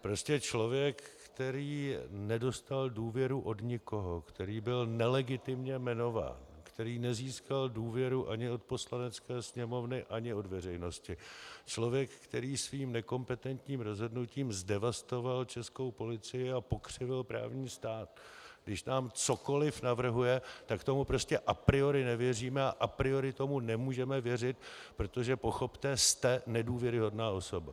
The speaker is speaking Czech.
Prostě člověk, který nedostal důvěru od nikoho, který byl nelegitimně jmenován, který nezískal důvěru ani od Poslanecké sněmovny, ani od veřejnosti, člověk, který svým nekompetentním rozhodnutím zdevastoval českou policii a pokřivil právní stát, když nám cokoli navrhuje, tak tomu prostě a priori nevěříme a a priori tomu nemůžeme věřit, protože pochopte - jste nedůvěryhodná osoba.